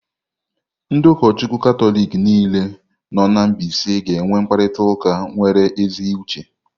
Ndị ụkọchukwu Katọlik niile nọ na mbaise ga-enwe mkparịta ụka nwere ezi uche.